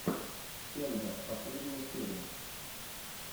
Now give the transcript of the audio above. кендер последняя серия